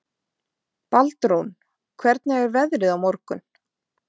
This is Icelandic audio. Baldrún, hvernig er veðrið á morgun?